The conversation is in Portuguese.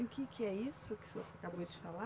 E o que que é isso que o senhor acabou de falar?